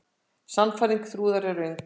Sannfæring Þrúðar er röng.